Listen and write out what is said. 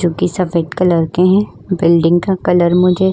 जो कि सफेद कलर के हैं बिल्डिंग का कलर मुझे --